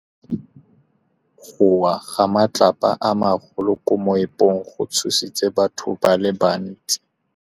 Go wa ga matlapa a magolo ko moepong go tshositse batho ba le bantsi.